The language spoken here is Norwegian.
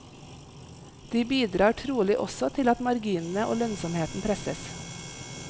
De bidrar trolig også til at marginene og lønnsomheten presses.